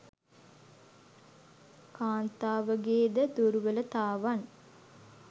කාන්තාවගේ ද දුර්වලතාවන්